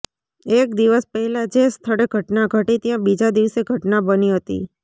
એક દિવસ પહેલા જે સ્થળે ઘટના ઘટી ત્યાં બીજા દિવસે ઘટના બની હતી